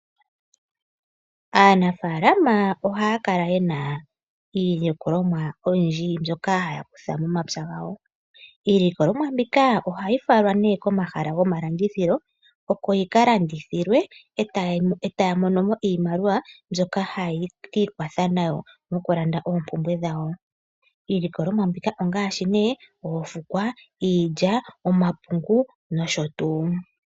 Aanafaalama ohaya kala ye na iilikolomwa oyindji mbyoka haya kutha momapya gawo . Iilikolomwa mbika ohayi falwa nee komahala goma landithilo oko yi ka landithilwe e taya mono mo iimaliwa mbyoka haye ki ikwatha nayo mokulanda oompumbwe dhawo. Iilikolomwa mbika ongaashi oofukwa, iilya, omapungu nosho tuu